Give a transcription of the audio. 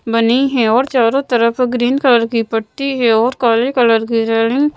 बनी हैं और चारों तरफ ग्रीन कलर की पट्टी है और काले कलर की रैलिंग --